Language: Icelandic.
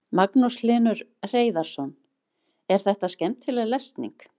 Magnús Hlynur Hreiðarsson: Er þetta skemmtileg lesning?